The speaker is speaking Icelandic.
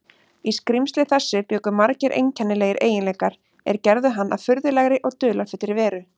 Í skrímsli þessu bjuggu margir einkennilegir eiginleikar, er gerðu hann að furðulegri og dularfullri veru.